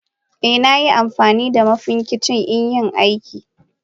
Eh Ina amfanida Mafincikan inyi aiki.